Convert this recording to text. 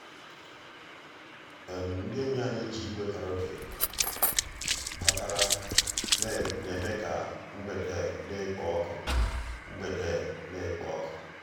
ndị́ ényí ànyị́ jì ígwè kàràókè batàrà um ná-èmè ká mgbedé ná-èkpò ọ́kụ́. mgbedé ná-èkpò ọ́kụ́.